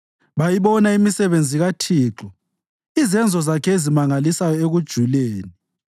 Bayibona imisebenzi kaThixo, izenzo zakhe ezimangalisayo ekujuleni.